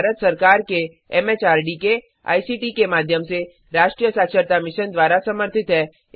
यह भारत सरकार के एमएचआरडी के आईसीटी के माध्यम से राष्ट्रीय साक्षरता मिशन द्वारा समर्थित है